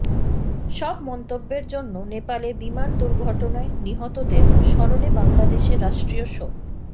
সব মন্তব্যের জন্য নেপালে বিমান দুর্ঘটনায় নিহতদের স্মরণে বাংলাদেশে রাষ্ট্রীয় শোক